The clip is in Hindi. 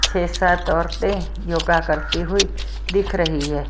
छह सात औरतें योगा करती हुई दिख रही है।